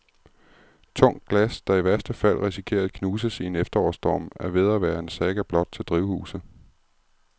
Tungt glas, der i værste fald risikerer at knuses i en efterårsstorm, er ved at være en saga blot til drivhuse.